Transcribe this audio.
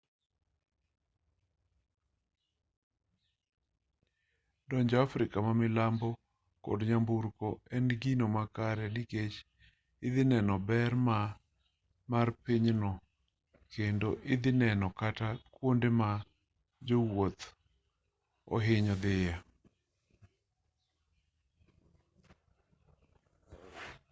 donjo afrika ma milambo kod nyamburko en gino makare nikech idhi neno ber mar pinyno kendo idhi neno kata kuonde ma jowuoth oohinyo dhiye